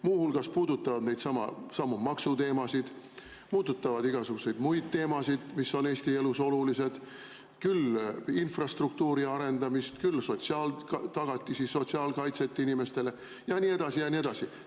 Muu hulgas puudutavad need neidsamu maksuteemasid, puudutavad igasuguseid muid teemasid, mis on Eesti elus olulised, küll infrastruktuuri arendamist, küll sotsiaaltagatisi, sotsiaalkaitset inimestele ja nii edasi ja nii edasi.